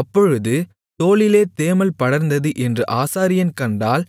அப்பொழுது தோலிலே தேமல் படர்ந்தது என்று ஆசாரியன் கண்டால்